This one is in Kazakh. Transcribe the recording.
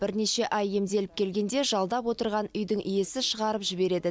бірнеше ай емделіп келгенде жалдап отырған үйдің иесі шығарып жібереді